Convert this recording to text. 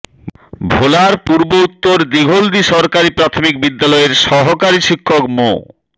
ভোলার পূর্ব উত্তর দিঘলদী সরকারি প্রাথমিক বিদ্যালয়ের সহকারী শিক্ষক মো